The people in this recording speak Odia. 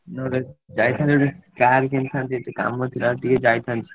ନହେଲେ ଯାଇଥାନ୍ତି ଗୋଟେ car କିଣିଥାନ୍ତି କାମ ଥିଲା ଏଠି ଟିକେ ଯାଇଥାନ୍ତି।